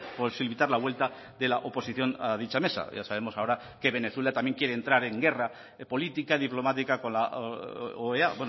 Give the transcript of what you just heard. posibilitar la vuelta de la oposición a dicha mesa ya sabemos ahora que venezuela también quiere entrar en guerra política diplomática con la oea